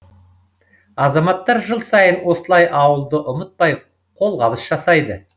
азаматтар жыл сайын осылай ауылды ұмытпай қолғабыс жасайды